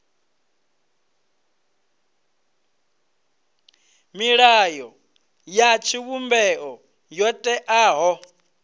milayo ya tshivhumbeo yo teaho